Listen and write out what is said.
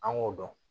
An k'o dɔn